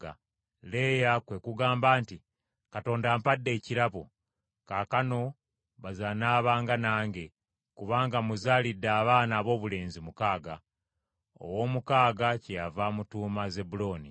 Leeya kwe kugamba nti, “Katonda ampadde ekirabo, kaakano baze anaabanga nange, kubanga muzaalidde abaana aboobulenzi mukaaga.” Ow’omukaaga kyeyava amutuuma Zebbulooni.